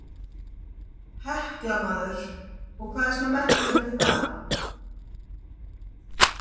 Hekla maður, og hvað er svona merkilegt við það.